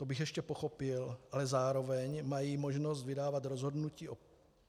To bych ještě pochopil, ale zároveň mají možnost vydávat rozhodnutí o